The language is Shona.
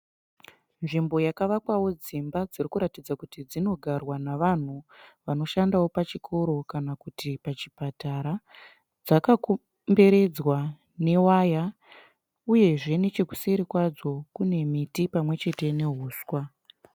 Nzvimbo yakavakwawo dzimba dzirikuratidza kuti dzinogarwa nevanhu vanoshandawo pachikoro kana kuti pachipatara. Dzakakomberedzwa newaya uyezve nechekuseri kwadzo kune miti pamwechete nehuswa.